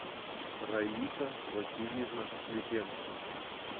раиса васильевна слипенко